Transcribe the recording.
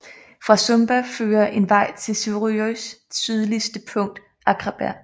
Fra Sumba fører en vej til Suðuroys sydligste punkt Akraberg